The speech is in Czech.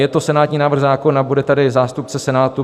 Je to senátní návrh zákona, bude tady zástupce Senátu.